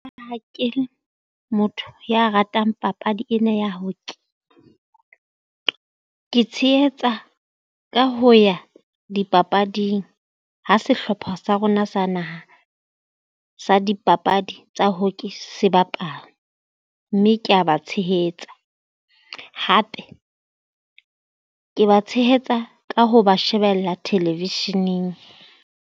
Ha ke motho ya ratang papadi ena ya hockey, ke tshehetsa ka ho ya dipapading ha sehlopha sa rona sa naha sa dipapadi tsa hockey se bapala. Mme kea ba tshehetsa hape ke ba tshehetsa ka ho ba shebella television-eng.